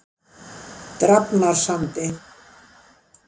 Drafnarsandi